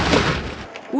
úr